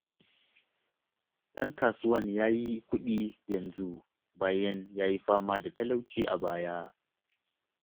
Ɗan kasuwan ya yi kuɗi yanzu bayan ya yi fama da talauci a baya.